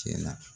Cɛla